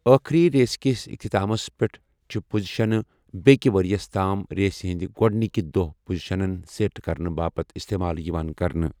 ٲخٕری ریسہِ کِس اختتامَس پٮ۪ٹھ چھِ پوزیشنہٕ بیٛکہِ ؤریَس تام ریسہِ ہٕنٛدِ گۄڈٕنِکہِ دۄہ پوزیشنَن سیٹ کرنہٕ باپتھ استعمال یِوان کرنہٕ۔